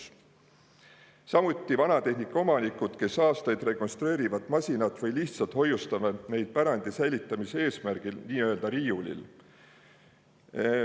Samuti vanatehnika omanikke, kes aastaid rekonstrueerivad masinaid või lihtsalt hoiustavad neid pärandi säilitamise eesmärgil nii-öelda riiulil.